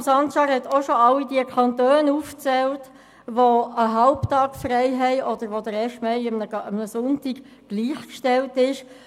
Haşim Sancar hat auch schon alle Kantone aufgezählt, in denen der Erste Mai einem halbtägigen Feiertag oder einem Sonntag gleichgestellt ist.